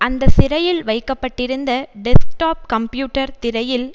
அந்த சிறையில் வைக்க பட்டிருந்த டெஸ்க்டாப் கம்ப்யூட்டர் திரையில்